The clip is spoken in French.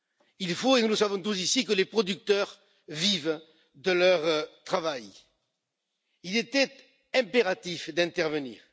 Il faut et nous le savons tous ici que les producteurs puissent vivre de leur travail. Il était impératif d'intervenir.